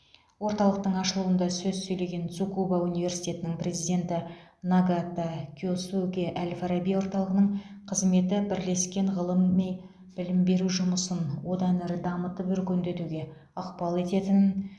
орталықтың ашылуында сөз сөйлеген цукуба университетінің президенті нагата киосукэ әл фараби орталығының қызметі бірлескен ғылыми білім беру жұмысын одан әрі дамытып өркендетуге ықпал ететінін